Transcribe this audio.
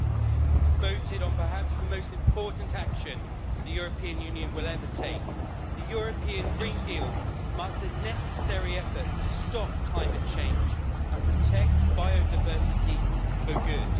Madam President, today we have voted on perhaps the most important action the European Union will ever take. The European Green Deal marks a necessary effort to stop climate change and protect biodiversity for good.